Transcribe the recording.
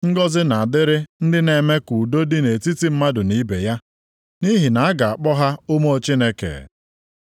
Ngọzị na-adịrị ndị na-eme ka udo dị nʼetiti mmadụ na ibe ya, nʼihi na a ga-akpọ ha ụmụ Chineke.